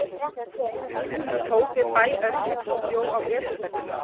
Hún tók við bæ Örlygs og bjó að Esjubergi.